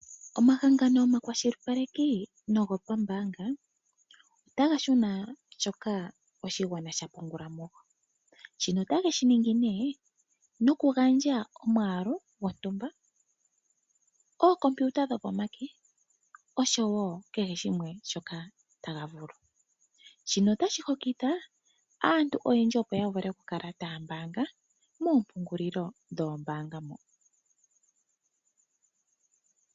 Omahangano omakwashilipaleki nogo poombaanga otaga shuna shoka oshigwana sha pungulamo ,shino otayeshi ningi nee noku gandja omwaalu gontumba, omashina gokutopatopa gopomake oshowow kehe shimwe shoka taga vulu , shino otashi hokitha aantu oyendji opo yavule okukala taya pungula moompungulilo dhoombaanga ndhika.